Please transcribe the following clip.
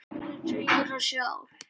Orðið segir það sjálft.